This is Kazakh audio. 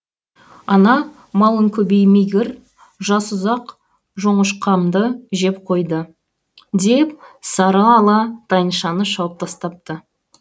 ана малың көбеймегір жасұзақ жоңышқамды жеп қойды деп сарыала тайыншаны жауып тастапты